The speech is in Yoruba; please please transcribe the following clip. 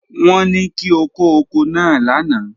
Won ni ki o ko oko naa lana.